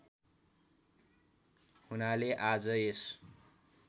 हुनाले आज यस